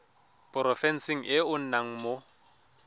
porofenseng e o nnang mo